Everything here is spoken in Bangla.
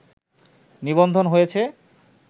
নিবন্ধন হয়েছে